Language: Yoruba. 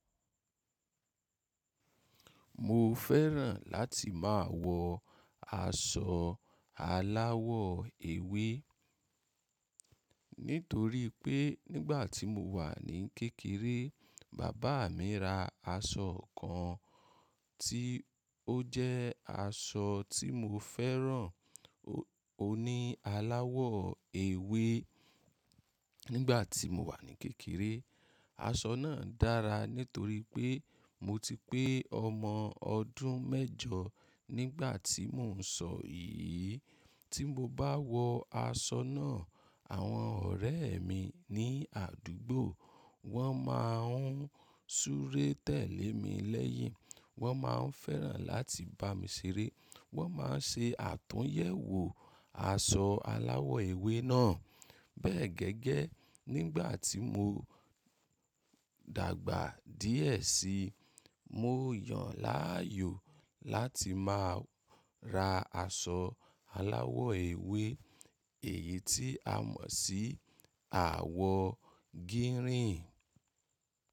Mo fẹ́ràn láti má a wọ aṣọ aláwọ̀ ewé, nítorí pé nígbà tí mo wà ní kékeré, bàbá mi ra aṣọ kan tí ó jẹ́ aṣọ tí mo fẹ́ràn, ó ní aláwọ̀ ewé. Nígbàtí ti mo wà ní kékeré aṣọ náà dára nítorí pé mo ti pé ọmọ ọdún mẹ́jọ ní ìgbàtí mo ń sọ yìí tí mo bá wọ aṣọ náà, àwọn ọ̀rẹ́ mi ní àdúgbò, wọ́n má a ń súré tẹ̀lé mi lẹ́yìn. Wọ́n má a ń fẹ́ràn láti bá mi ṣeré. Wọ́n má a ń ṣe àtúnyẹ̀wò aṣọ aláwọ̀ ewé náà. Bẹ́ẹ̀ gẹ́gẹ́, nígbà tí mo dàgbà díẹ̀ síi, mo yàn láàyò láti má a ra aṣọ aláwọ̀ ewé èyí tí a mọ̀ sí àwọ̀ gírìn.